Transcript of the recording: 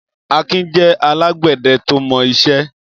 Akin jẹ̀ àlágbẹ̀dẹ̀ tó mọ iṣẹ̀